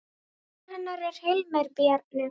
Barn hennar er Hilmir Bjarni.